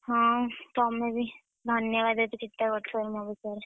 ହଁ ତମେ ବି, ଧନ୍ୟବାଦ ଏତେ ଚିନ୍ତା କରୁଥିବାରୁ ମୋ ବିଷୟରେ।